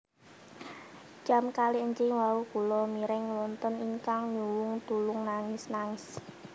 Jam kalih enjing wau kulo mireng wonten ingkang nyuwung tulung nangis nangis